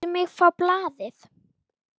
Láttu mig fá blaðið!